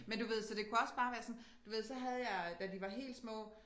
Men du ved så det kunne også bare være sådan du ved så havde jeg da de var helt små